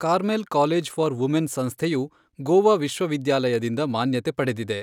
Carmel College for Women ಸಂಸ್ಥೆಯು ಗೋವಾ ವಿಶ್ವವಿದ್ಯಾಲಯದಿಂದ ಮಾನ್ಯತೆ ಪಡೆದಿದೆ.